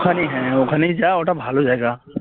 ওখানে হ্যাঁ ওখানে যা ওটা ভালো জায়গা